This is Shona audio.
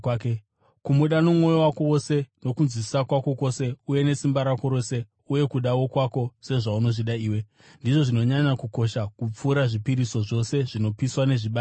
Kumuda nomwoyo wako wose, nokunzwisisa kwako kwose uye nesimba rako rose, uye kuda wokwako sezvaunozvida iwe ndizvo zvinonyanya kukosha kupfuura zvipiriso zvose zvinopiswa, nezvibayiro.”